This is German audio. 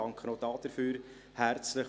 Auch dafür bedanke ich mich herzlich.